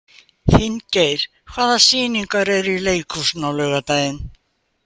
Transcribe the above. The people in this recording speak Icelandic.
Finngeir, hvaða sýningar eru í leikhúsinu á laugardaginn?